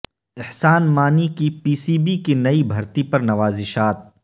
احسان مانی کی P C B کی نئی بھرتی پر نوازشات